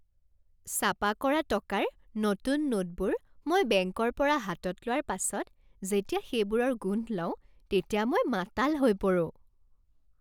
ছাপা কৰা টকাৰ নতুন নোটবোৰ মই বেংকৰ পৰা হাতত লোৱাৰ পাছত যেতিয়া সেইবোৰৰ গোন্ধ লওঁ তেতিয়া মই মাতাল হৈ পৰোঁ।